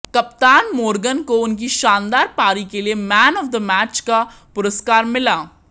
कप्तान मोर्गन को उनकी शानदार पारी के लिए मैन ऑफ द मैच का पुरस्कार मिला